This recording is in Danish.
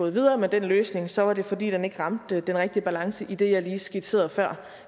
videre med den løsning så var det fordi den ikke ramte den rigtige balance i det jeg lige skitserede før